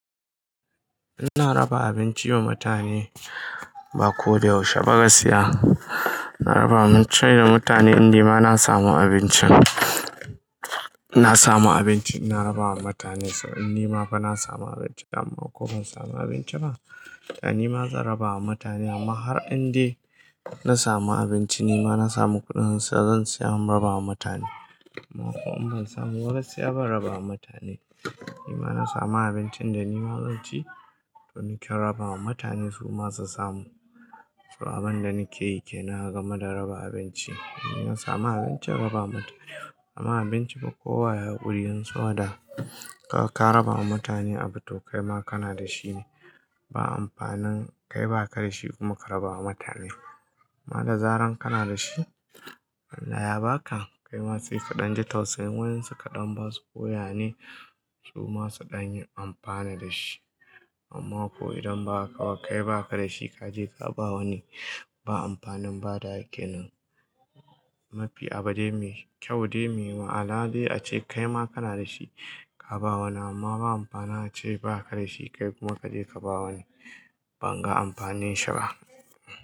Ina raba abinci wa mutane ba ko da yaushe ba gaskiya. Na raba abinci da mutane indai ma na samu abincin. Na samu abinci ina raba wa mutane in nima fa na samu abinci amma ko ban samu abinci ba, ni ma zan raba wa mutane amma har indai na samu abinci nima na samu kuɗin sa zan seya in raba wa mutane. Amma kuma in ban samu ba gaskiya ban raba wa mutane. Nima na samu abincin da nima zanci to in ta raba wa mutane su ma su samu. So abin da nake yi kenan a game da raba abinci. In na samu abinci im raba wa mutane. Amma abinci ba kowa ya hakurin sabo da kaga ka ka raba wa mutane abu to kaima kana da shi ne. Ba amfanin kai baka da shi kuma ka raba wa mutane. Amma da zaran kana da shi, Allah yaba ka kaima sai ka ɗan ji tausayin wayan su kaɗan basu koya ne su ma su ɗan yi amfani da shi. Amma ko idan ba haka ba kai baka da shi kaje ka bawa wani ba amfanin bada wa kenan. Mafi abu dai mai kyau dai me ma'ana dai ace kaima kana da shi ka bawa wani amma ba amfanim ace baka da shi kai kuma kaje ka bawa wani banga amfanin shi ba.